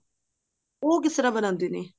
ਉਹ ਕਿਸ ਤਰ੍ਹਾਂ ਬਣਾਉਂਦੇ ਨੇ